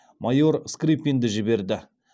майор скрыпинді жіберді